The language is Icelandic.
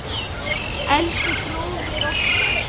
Elsku bróðir okkar.